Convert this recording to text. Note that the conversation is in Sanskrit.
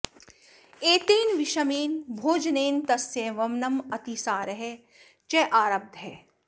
एतेन विषमेन भोजनेन तस्य वमनम् अतिसारः च आरब्धः